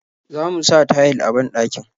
Zamu sa tayil a banɗakin.